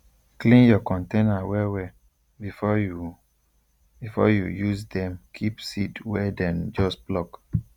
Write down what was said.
clean your container well well before you before you use dem keep seed wey dem just pluck